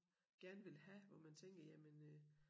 Gerne vil have hvor man tænker jamen øh